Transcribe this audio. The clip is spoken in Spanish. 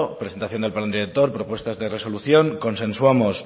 presentación del plan director propuestas de resolución consensuamos